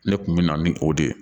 Ne kun bɛ na ni o de ye